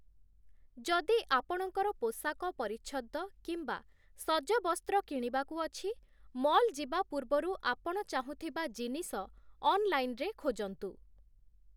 ଯଦି ଆପଣଙ୍କର ପୋଷାକ ପରିଚ୍ଛଦ କିମ୍ବା ସଜବସ୍ତ୍ର କିଣିବାକୁ ଅଛି, ମଲ୍ ଯିବା ପୂର୍ବରୁ ଆପଣ ଚାହୁଁଥିବା ଜିନିଷ ଅନଲାଇନ୍‌ରେ ଖୋଜନ୍ତୁ ।